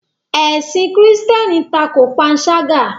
Ẹ̀sìn kírísítẹ́nì tako panṣágà.